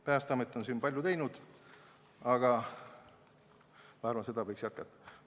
Päästeamet on siin palju ära teinud, aga ma arvan, et seda tööd võiks jätkata.